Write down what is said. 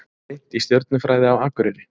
Rýnt í stjörnufræði á Akureyri